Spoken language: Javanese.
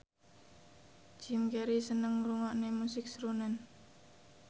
Jim Carey seneng ngrungokne musik srunen